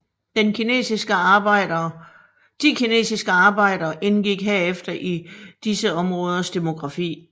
De kinesiske arbejdere indgik herefter i disse områders demografi